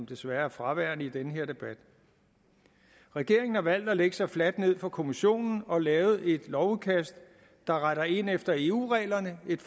desværre fraværende i den her debat regeringen har valgt at lægge sig fladt ned for kommissionen og lavet et lovudkast der retter ind efter eu reglerne et